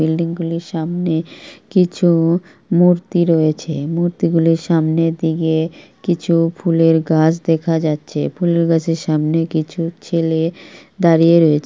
Building গুলির সামনে কিছু মূর্তি রয়েছে মূর্তিগুলোর সামনের দিকে কিছু ফুলের গাছ দেখা যাচ্ছে ফুলের গাছের সামনে কিছু ছেলে দাঁড়িয়ে রয়েছে।